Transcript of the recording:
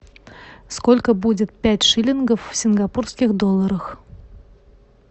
сколько будет пять шиллингов в сингапурских долларах